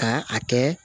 Ka a kɛ